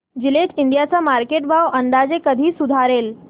Gillette India चा market भाव अंदाजे कधी सुधारेल